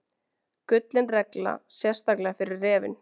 Gullin regla, sérstaklega fyrir refinn.